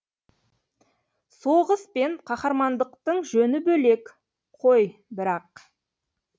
соғыс пен қаһармандықтың жөні бөлек қой бірақ